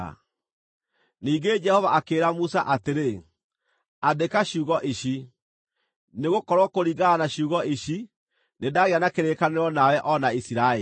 Ningĩ Jehova akĩĩra Musa atĩrĩ, “Andĩka ciugo ici, nĩgũkorwo kũringana na ciugo ici, nĩndagĩa na kĩrĩkanĩro nawe o na Isiraeli.”